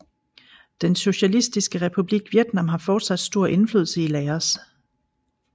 Den Socialistiske Republik Vietnam har fortsat stor indflydelse i Laos